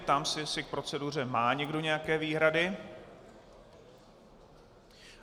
Ptám se, jestli k proceduře má někdo nějaké výhrady.